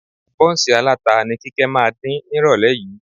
Bọ́ǹsì aláta ni Kíkẹ́ máa dín nírọ̀lẹ́ yìí